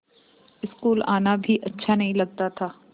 school आना भी अच्छा नहीं लगता था